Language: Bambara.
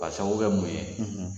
K'a sababu kɛ mun ye?